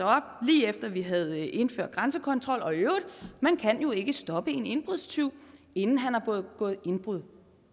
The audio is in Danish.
op lige efter at vi havde indført grænsekontrollen og man kan jo ikke stoppe en indbrudstyv inden han har begået indbrud